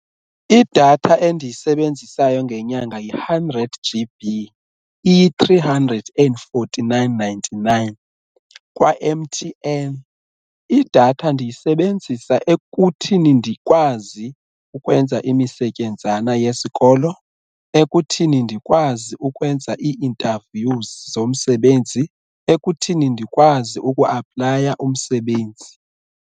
Idatha endiyisebenzisayo ngenyanga yi-hundred G_B iyi-three hundred and forty-nine, ninety-nine kwa-M_T_N, idatha ndiyisebenzisa ekuthini ndikwazi ukwenza imisetyenzana yesikolo, ekuthini ndikwazi ukwenza ii-interviews zomsebenzi, ekuthini ndikwazi uku-aplaya umsebenzi.